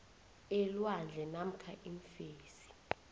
elwandle namkha iimfesi